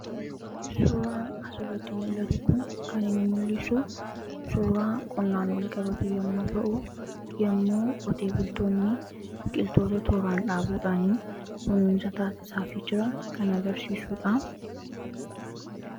Suuraan asiratti mul'atu kun kan inni mul'isu suuraa qonnaan walqabatu yommuu ta'u yommuu qotee bultoonni biqiltoota tooraan dhaabuudhaanii kunuunsa taasiisaafi jiran kan garsiisudha.